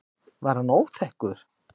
Var hann óþekkur?